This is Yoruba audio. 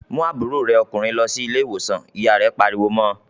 "Mú àbúrò rẹ ọkùnrin lọ sí ilé-ìwòsàn!" Ìyá rẹ̀ pariwo mọ́ ọ.